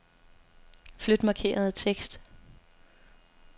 Flyt markerede tekst.